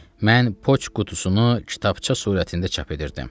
Mən Poçt qutusunu kitabça surətində çap edirdim.